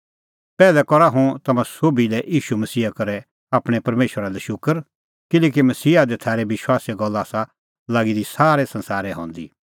पैहलै करा हुंह तम्हां सोभी लै ईशू मसीहा करै आपणैं परमेशरा लै शूकर किल्हैकि मसीहा दी थारै विश्वासे गल्ला आसा लागी दी सारै संसारै हंदी